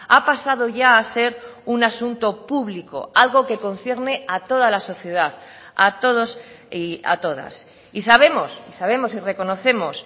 ha pasado ya a ser un asunto público algo que concierne a toda la sociedad a todos y a todas y sabemos y sabemos y reconocemos